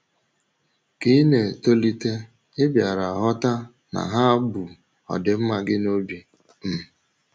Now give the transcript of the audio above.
Ka ị na - etolite, ị bịara ghọta na ha bu ọdịmma gị n’obi um.